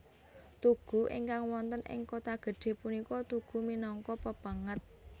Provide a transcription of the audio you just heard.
Tugu ingkang wonten ing Kotagedhe punika tugu minangka pepenget